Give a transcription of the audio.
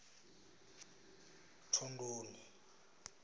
thondoni